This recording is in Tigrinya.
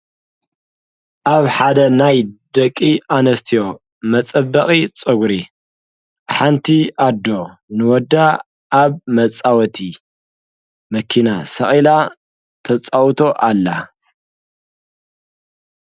ኣብ ሓደ ናይ ደቂ ኣነስትዮ መጸበቒ ፆጕሪ ሓንቲ ኣዶ ንወዳ ኣብ መጻወቲ መኪና ሰዒላ ተጻውቶ ኣላ።